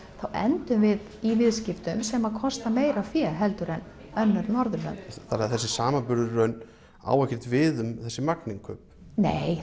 þá endum við í viðskiptum sem kosta meira fé en önnur Norðurlönd þannig að þessi samanburður á ekkert við um þessi magninnkaup nei